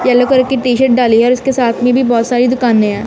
Yellow colour की T shirt डाली है और उसके साथ में भी बहोत सारी दुकाने है।